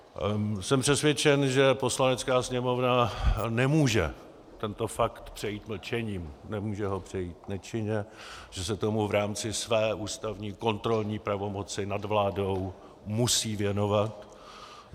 Jsem přesvědčen, že Poslanecká sněmovna nemůže tento fakt přejít mlčením, nemůže ho přejít nečinně, že se tomu v rámci své ústavní kontrolní pravomoci nad vládou musí věnovat.